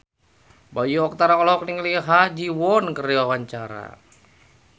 Bayu Octara olohok ningali Ha Ji Won keur diwawancara